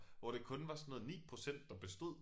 Hvor det kun var sådan noget 9% der bestod